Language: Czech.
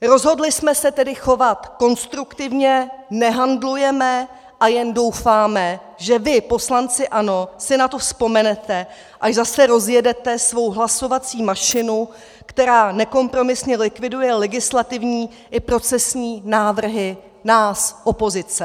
Rozhodli jsme se tedy chovat konstruktivně, nehandlujeme a jen doufáme, že vy, poslanci ANO, si na to vzpomenete, až zase rozjedete svou hlasovací mašinu, která nekompromisně likviduje legislativní i procesní návrhy nás opozice.